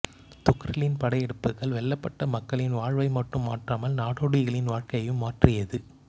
துக்ரிலின் படையெடுப்புகள் வெல்லப்பட்ட மக்களின் வாழ்வை மட்டும் மாற்றாமல் நாடோடிகளின் வாழ்க்கையையும் மாற்றியது